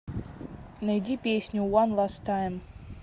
найди песню уан ласт тайм